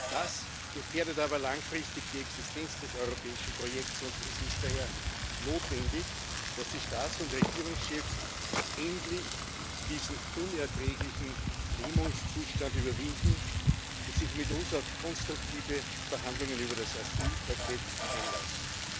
Das gefährdet aber langfristig die Existenz des europäischen Projekts, und es ist daher notwendig, dass die Staats und Regierungschefs endlich diesen unerträglichen Lähmungszustand überwinden und sich mit uns auf konstruktive Verhandlungen über das Asylpaket einlassen.